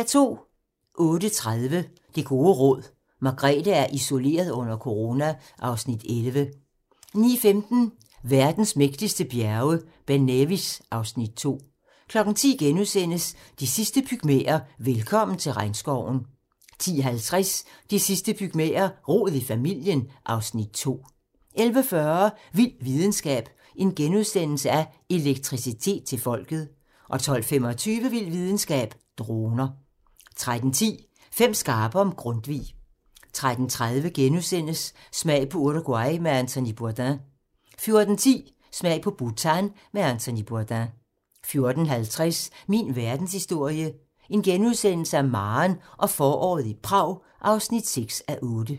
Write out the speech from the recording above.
08:30: Det gode råd: Margrethe er isoleret under corona (Afs. 11) 09:15: Verdens mægtigste bjerge: Ben Nevis (Afs. 2) 10:00: De sidste pygmæer: Velkommen til regnskoven * 10:50: De sidste pygmæer: Rod i familien (Afs. 2) 11:40: Vild videnskab: Elektricitet til folket * 12:25: Vild videnskab: Droner 13:10: Fem skarpe om Grundtvig 13:30: Smag på Uruguay med Anthony Bourdain * 14:10: Smag på Bhutan med Anthony Bourdain 14:50: Min verdenshistorie - Maren og foråret i Prag (6:8)*